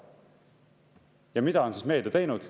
Ja mida on meedia teinud?